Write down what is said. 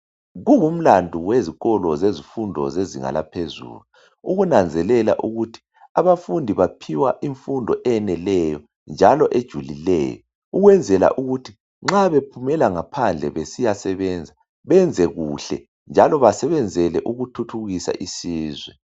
Kungumlando wezikolo zezifundo zezinga laphezulu ukunanzelela ukuthi abafundi baphiwa imfundo eneleyo njalo ejulileyo ukwenzela ukuthi nxa bephumela ngaphandle besiyasebenza benze kuhle njalo basebenzele ukuthuthukisa isizwe.